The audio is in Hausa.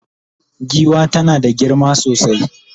giwa tana da girma sosai